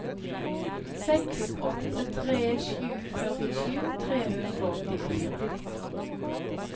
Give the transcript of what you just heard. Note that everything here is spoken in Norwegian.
seks åtte tre sju førtisju tre hundre og åttifire